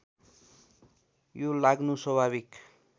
यो लाग्नु स्वाभाविक